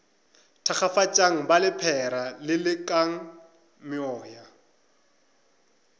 thakgafatšang ba lephera lelekang meoya